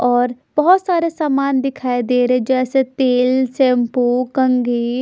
और बहोत सारे सामान दिखाई दे रहे है जैसे तेल शैंपू कंघी--